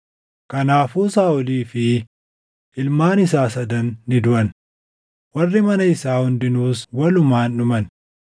Kanaafuu Saaʼolii fi ilmaan isaa sadan ni duʼan; warri mana isaa hundinuus walumaan dhuman.